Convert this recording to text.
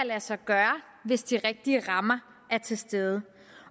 lade sig gøre hvis de rigtige rammer er til stede